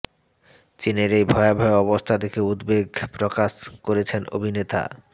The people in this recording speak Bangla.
চিনের এই ভয়াবহ অবস্থা দেখে উদ্বেগ প্রকাশ করেছেন অভিনেতা